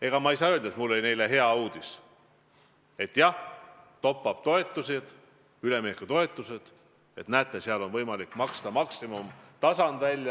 Ega ma ei saa öelda, et mul oli neile häid uudiseid: jah, top-up-toetused, üleminekutoetused, näete, on võimalik maksta välja maksimumtasandil.